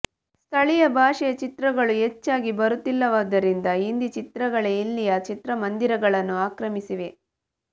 ಸ್ಥಳೀಯ ಭಾಷೆಯ ಚಿತ್ರಗಳು ಹೆಚ್ಚಾಗಿ ಬರುತ್ತಿಲ್ಲವಾದ್ದರಿಂದ ಹಿಂದಿ ಚಿತ್ರಗಳೇ ಇಲ್ಲಿಯ ಚಿತ್ರಮಂದಿರಗಳನ್ನು ಆಕ್ರಮಿಸಿವೆ